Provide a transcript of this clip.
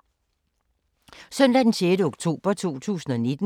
Søndag d. 6. oktober 2019